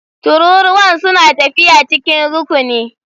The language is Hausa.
Tururuwan suna tafiya cikin rukuni.